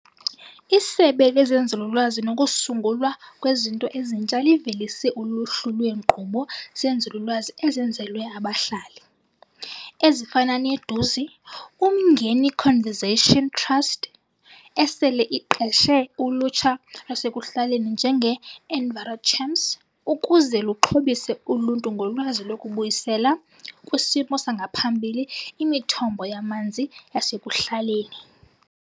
ISebe lezeNzululwazi nokuSungulwa Kwezinto Ezintsha livelise uluhlu lweenkqubo zenzululwazi ezenzelwe abahlali, ezifana ne-Duzi uMngeni Conservation Trust, esele iqeshe ulutsha lwasekuhlaleni njenge-Enviro-Champs ukuze luxhobise uluntu ngolwazi lokubuyisela kwisimo sangaphambili imithombo yamanzi yasekuhlaleni.